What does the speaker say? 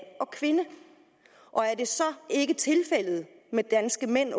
og kvinde og er det så ikke åbenbart tilfældet med danske mænd at